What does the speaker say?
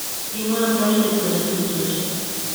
Kimwaa amdoindet kole tupchoyiek.